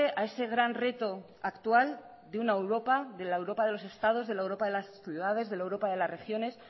a ese gran reto actual de una europa de la europa de los estados de la europa de las ciudades de la europa de las regiones